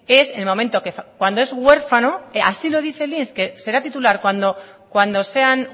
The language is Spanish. es en el momento cuando es huérfano así no dice el inss que será titular cuando sean